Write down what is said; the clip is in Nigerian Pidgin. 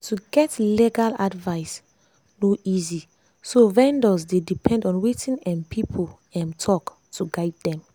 to get legal advice no easy so vendors dey depend on wetin um people um talk to guide them.